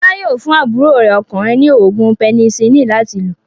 Fọlá yóò fún àbúrò rẹ̀ ọkùnrin ní òògùn pẹnisilínì láti lò.